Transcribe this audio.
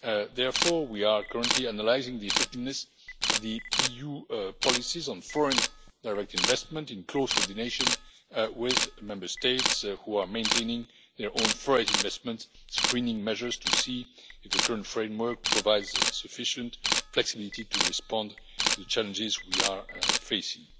Therefore, we are currently analysing the effectiveness of EU policies on foreign direct investment in close coordination with Member States, which are maintaining their own foreign investments screening measures to see if the current framework provides sufficient flexibility to respond to the challenges we are facing.